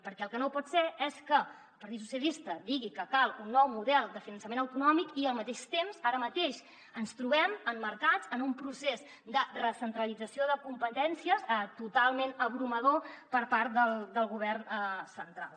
perquè el que no pot ser és que el partit socialista digui que cal un nou model de finançament autonòmic i al mateix temps ara mateix ens trobem emmarcats en un procés de recentralització de competències totalment aclaparador per part del govern central